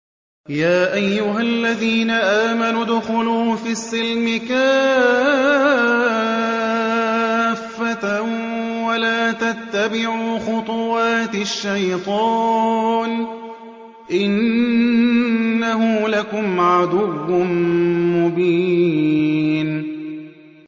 يَا أَيُّهَا الَّذِينَ آمَنُوا ادْخُلُوا فِي السِّلْمِ كَافَّةً وَلَا تَتَّبِعُوا خُطُوَاتِ الشَّيْطَانِ ۚ إِنَّهُ لَكُمْ عَدُوٌّ مُّبِينٌ